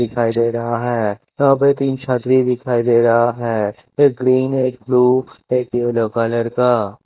दिखाई दे रहा है यहाँ पे तीन छतरी दिखाई दे रहा है एक ग्रीन एक ब्लू एक येलो कलर का --